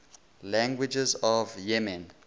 languages of yemen